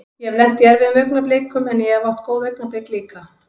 Ég hef lent í erfiðum augnablikum en ég hef átt góð augnablik líka.